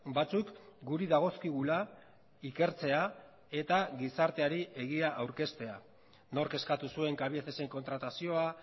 batzuk guri dagozkigula ikertzea eta gizarteari egia aurkeztea nork eskatu zuen cabiecesen kontratazioa